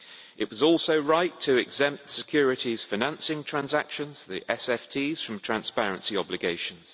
It was also right to exempt securities financing transactions from transparency obligations.